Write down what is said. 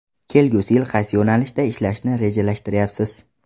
Kelgusi yil qaysi yo‘nalishda ishlashni rejalashtiryapsiz?